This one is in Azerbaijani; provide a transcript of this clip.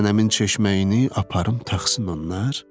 Nənəmin çeşməyini aparım taxsın onlar?